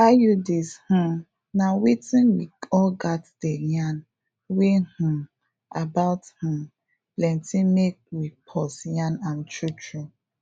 iuds um na wetin we all gats dey yarn wey um about um plenti mek we pause yan am true true